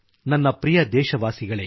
ನನ್ನ ಪ್ರಿಯ ದೇಶವಾಸಿಗಳೆ